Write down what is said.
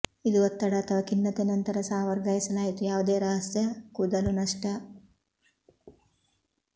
ಇದು ಒತ್ತಡ ಅಥವಾ ಖಿನ್ನತೆ ನಂತರ ಸಹ ವರ್ಗಾಯಿಸಲಾಯಿತು ಯಾವುದೇ ರಹಸ್ಯ ಕೂದಲು ನಷ್ಟ